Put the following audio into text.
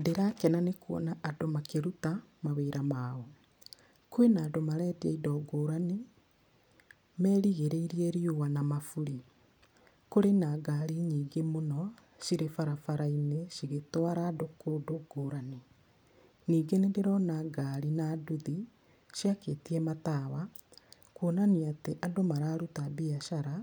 Ndĩrakena nĩ kuona andũ makĩruta mawĩra mao. Kwĩna andũ marendia indo ngũrani, merigĩrĩirie riũa na maburi. Kũrĩ na ngari nyingĩ mũno cirĩ barabara-inĩ cigĩtwara andũ kũndũ ngũrani. Ningĩ nĩndĩrona ngari na nduthi ciakĩtie matawa, kuonania atĩ andũ mararuta biacara